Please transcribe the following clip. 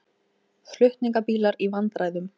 Flutningabílar í vandræðum